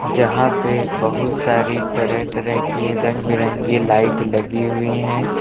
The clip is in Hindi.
जहां पे बहुत सारी तरह तरह की रंग बिरंगी लाइट लगी हुई हैं।